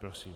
Prosím.